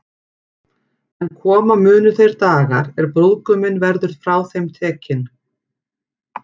En koma munu þeir dagar, er brúðguminn verður frá þeim tekinn.